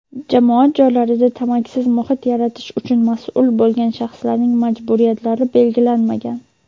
jamoat joylarida tamakisiz muhit yaratish uchun mas’ul bo‘lgan shaxslarning majburiyatlari belgilanmagan.